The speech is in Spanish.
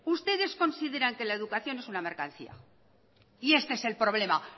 ustedes consideran que la educación es una mercancía y este es el problema